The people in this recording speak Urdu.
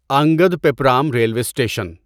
Angadippuram railway station